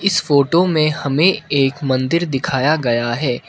इस फोटो में हमें एक मंदिर दिखाया गया है।